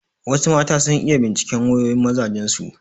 Wasu mata sun iya binciken wayoyin mazajen su.